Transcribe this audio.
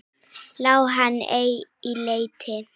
Lá hann ei í leti.